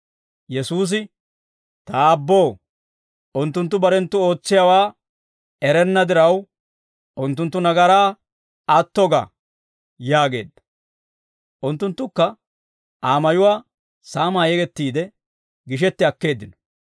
Yesuusi, «Ta Aabboo, unttunttu barenttu ootsiyaawaa erenna diraw, unttunttu nagaraa atto ga» yaageedda. Unttunttukka Aa mayuwaa saamaa yegettiide gishetti akkeeddino.